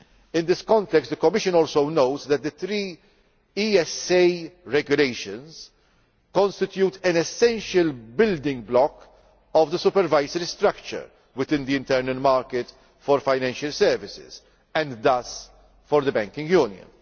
In this context, the Commission also notes that the three ESA regulations constitute an essential building block of the supervisory structure within the internal market for financial services, and thus for the banking